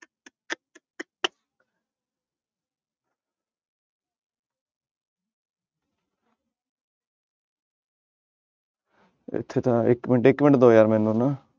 ਇੱਥੇ ਤਾਂ ਇੱਕ ਮਿੰਟ ਇੱਕ ਮਿੰਟ ਦਓ ਯਾਰ ਮੈਨੂੰ ਨਾ।